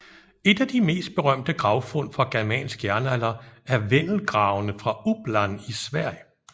Et af de mest berømte gravfund fra germansk jernalder er Vendelgravene fra Uppland i Sverige